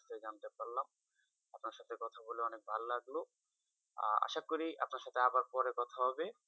কথা বলে অনেক ভালো লাগলো আশা করি আপনার সাথে আবার পরে কথা হবে,